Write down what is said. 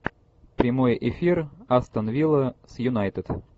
прямой эфир астон вилла с юнайтед